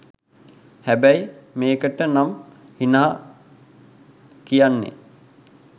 හැබැයි මේකට නම් හිනා කියන්නේ